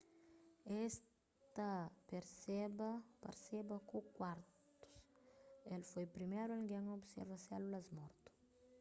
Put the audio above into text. es ta parseba ku kuartus el foi priméru algen a observa sélulas mortu